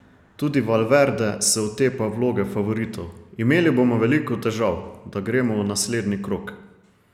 Tudi Valverde se otepa vloge favoritov: "Imeli bomo veliko težav, da gremo v naslednji krog.